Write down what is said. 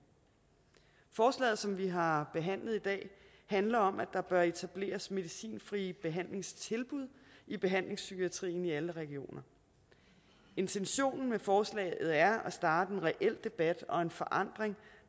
forslaget som vi har behandlet i dag handler om at der bør etableres medicinfrie behandlingstilbud i behandlingspsykiatrien i alle regioner intentionen med forslaget er at starte en reel debat og en forandring